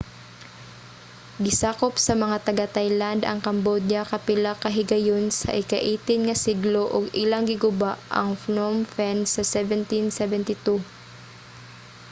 gisakop sa mga taga-thailand ang cambodia kapila ka higayon sa ika-18 nga siglo ug ilang giguba ang phnom phen sa 1772